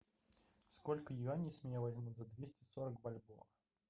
сколько юаней с меня возьмут за двести сорок бальбоа